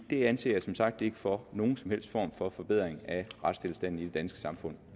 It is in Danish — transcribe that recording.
det anser jeg som sagt ikke for at nogen som helst form for forbedring af retstilstanden i det danske samfund